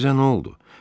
Sizə nə oldu?